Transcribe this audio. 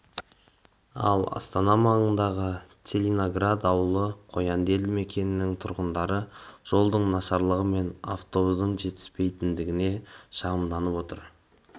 ал астана маңындағы целиноград ауданы қоянды елді мекенінің тұрғындары жолдың нашарлығы мен автобустың жетіспейтіндігіне шағымданып отыр